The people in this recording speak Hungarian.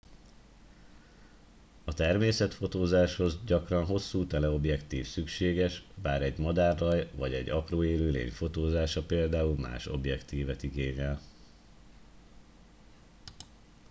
a természetfotózáshoz gyakran hosszú teleobjektív szükséges bár egy madárraj vagy egy apró élőlény fotózása például más objektívet igényel